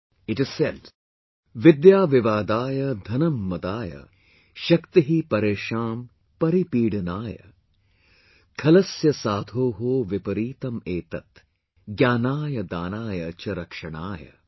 It is said, VIDYA VIVADAYA DHANAM MADAAY, SHAKTIH PARESHAAN PARIPEEDNAYAKHALASYA SADHOH VIPAREETAM ETAT, GYAANAYDAANAYCH RAKSHANAY